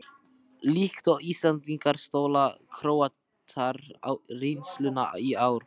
Líkt og Íslendingar stóla Króatar á reynsluna í ár.